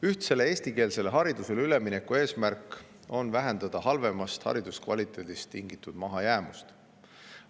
Ühtsele eestikeelsele haridusele ülemineku eesmärk on vähendada hariduse halvemast kvaliteedist tingitud mahajäämust.